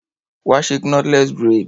Wá ṣe knotless braid.